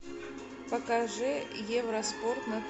покажи евроспорт на